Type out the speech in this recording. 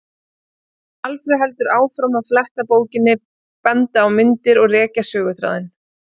Alfreð heldur áfram að fletta bókinni, benda á myndir og rekja söguþráðinn.